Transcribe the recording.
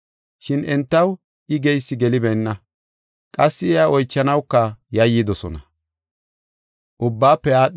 Shin entaw I geysi gelibeenna; qassi iya oychanawuka yayyidosona.